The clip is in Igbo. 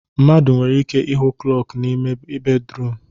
Mmadụ nwere ike ịhụ klọku n'ime ya bedruum